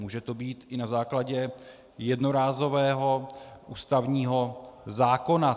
Může to být i na základě jednorázového ústavního zákona.